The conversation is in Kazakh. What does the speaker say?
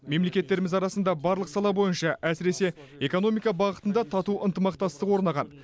мемлекеттеріміз арасында барлық сала бойынша әсіресе экономика бағытында тату ынтымақтастық орнаған